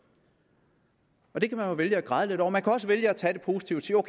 det kan man jo vælge at græde lidt over man kan også vælge at tage det positivt og